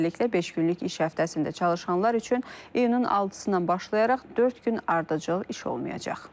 Beləliklə beş günlük iş həftəsində çalışanlar üçün iyunun 6-dan başlayaraq dörd gün ardıcıl iş olmayacaq.